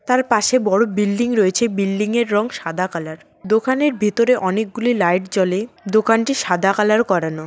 তার পাশে বড় বিল্ডিং রয়েছে বিল্ডিংয়ের রং সাদা কালার দোকানের ভেতরে অনেকগুলি লাইট জ্বলে দোকানটি সাদা কালার করানো।